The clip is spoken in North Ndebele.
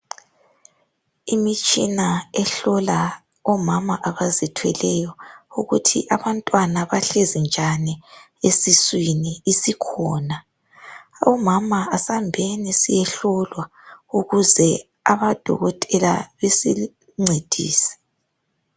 Imitshina ehlola omama abazithweleyo ukuthi abantwana bahlezi njani esiswini isikhona. Bomama asambeni siyehlolwa ukuze odokotela basincedise